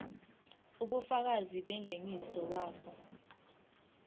ubufakazi bengeniso wakho